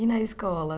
E na escola?